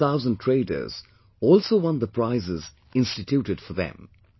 Seventy thousand traders also won the prizes instituted for them